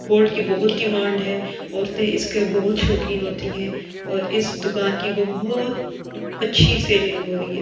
Cold की बहुत ही डिमांड है औरते इसकी बहुत शोकिन होती है और इस दुकान कि बहुत अच्छी सेल्लिंग हो रही है ।